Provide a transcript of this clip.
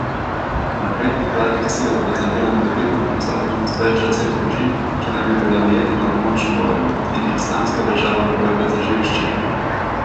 Napredek vladnih sil pa zavira morebitna prisotnost več deset družin, ki naj bi bile ujete na območju bojev in jih Islamska država uporablja za živi ščit.